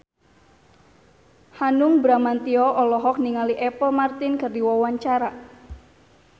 Hanung Bramantyo olohok ningali Apple Martin keur diwawancara